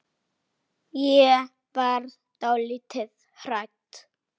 Hann tekur jakkann upp.